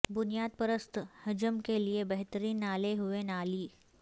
بنیاد پرست حجم کے لئے بہترین نالے ہوئے نالی